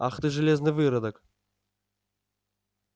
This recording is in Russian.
ах ты железный выродок